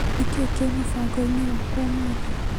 Nĩkĩĩ kĩ mũbango-inĩ wakwa ũmũthĩ.